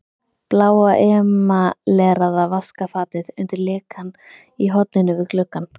Bláa emaleraða vaskafatið undir lekann í horninu við gluggann.